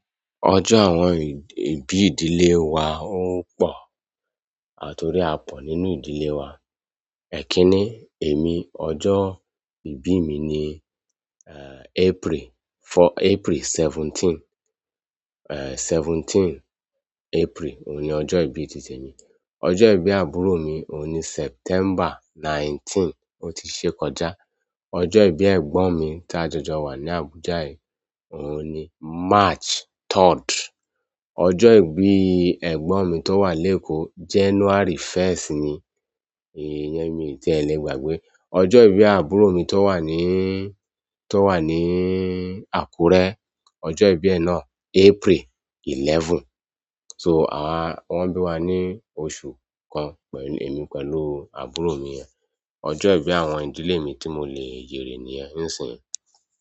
Ọjọ́ àwọn ìbí ìdílé wa ó pò, torí a pò nínú ìdílé wa. Ẹ̀kínní, èmi ọjọ́ ìbí mi ni, eh, April fo-- April seventeen, eh, seventeen April òun ni ọjọ́ ìbí tí temi. Ọjọ́ ìbí àbúrò mi òun ni September nineteen, ó ti ṣe kọjá. Ọjọ́ ìbí ẹ̀gbọ́n mi ta jọjọ wà ní Abuja yi òun ni March third. Ọjọ́ ìbí ẹ̀gbọ́n mi tó wà lékò January first ni, iyẹn mi tí ẹ̀ lè gbàgbé. Ọjọ́ ìbí àbúrò mi tó wà níí, tó wà níí Àkúrẹ́, ọjọ́ ìbí ẹ nàa April eleven. So, àwa wọn bí wa ní oṣù kan pẹ̀lú èmi pẹ̀lú àbúrò mi yẹn. Ọjọ́ ìbí àwọn ìdílé mi tí mo lè yèrè niyẹ̀ń nisìn.